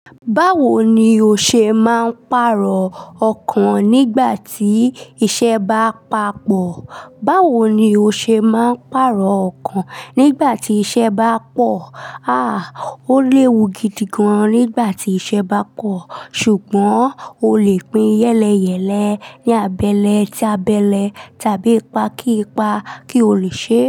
Báwo ni o ṣe máa ń pàrọ̀ ọkàn nígbà tí iṣẹ́ bá papọ̀? Báwo ni o ṣe máa ń pàrọ̀ ọkàn nígbà tí iṣẹ́ bá pọ̀? Àá o lè wu gidi gan nígbà tí iṣẹ́ bá pọ̀, ṣùgbọ́n o lè pín yẹ́lẹyẹ̀lẹ ní abẹ́lé tí abẹ́lé tàbí pa kí pa kí o lè ṣe.